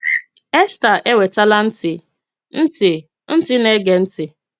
Èstà enwetàla ntị, ntị ntị na-ege ntị.